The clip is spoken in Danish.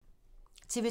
TV 2